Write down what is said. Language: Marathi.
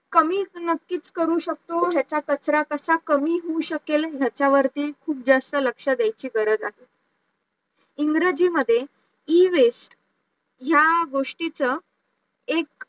कमी तर नक्की करूच शकतो ह्याचा कचरा कसा कमी होऊ शकेल याच्यावरती खूप जास्त लक्ष द्यायची गरज आहे, इंग्रजी मध्ये Ewaste या गोष्टीचं एक